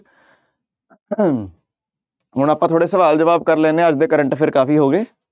ਹਮ ਹੁਣ ਆਪਾਂ ਥੋੜ੍ਹਾ ਸਵਾਲ ਜਵਾਬ ਕਰ ਲੈਂਦੇ ਹਾਂ ਅੱਜ ਦੇ current affair ਕਾਫ਼ੀ ਹੋ ਗਏ।